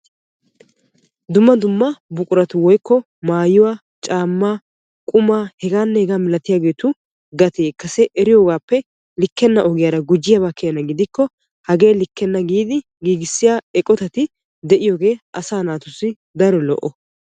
Dumma dumma buquratu maayuwaa caammaa hegaanne hegaa malatiyaagetu gatee kase eriyoogappe likkenna ogiyaara gujjiyaaba keena gidikko hagee likkenna giidi giigissiyaa eqotati de'iyoogee asaa naatussi daro lo"o.